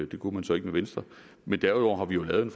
det kunne man så ikke med venstre men derudover har vi jo lavet en